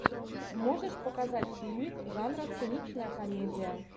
можешь показать фильмик жанра циничная комедия